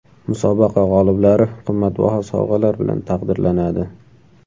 Musobaqa g‘oliblari qimmatbaho sovg‘alar bilan taqdirlanadi.